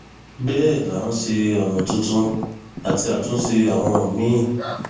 bẹẹ là ń ṣe ọnà tuntun àti àtúnṣe àwọn míín